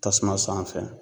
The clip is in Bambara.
Tasuma sanfɛ